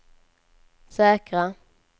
säkra